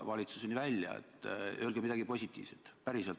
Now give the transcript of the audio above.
Öelge midagi positiivset – päriselt!